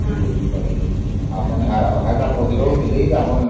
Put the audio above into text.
ସେଥିପାଇ ମୁଁ ପଚାରୁ ଥିଲି ଯେ ଆପଣ